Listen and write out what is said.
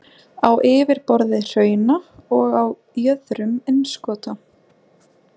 á yfirborði hrauna og á jöðrum innskota.